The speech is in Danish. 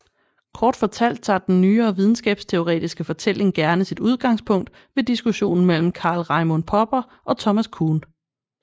Kort fortalt tager den nyere videnskabsteoretiske fortælling gerne sit udgangspunkt ved diskussionen mellem Karl Raimund Popper og Thomas Kuhn